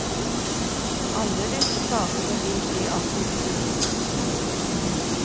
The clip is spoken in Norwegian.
Alle disse sakene vil bli aktivt fulgt opp.